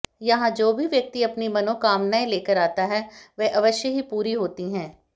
यहां जो भी व्यक्ति अपनी मनोकामनाएं लेकर आता है वह अवश्य ही पूरी होती हैं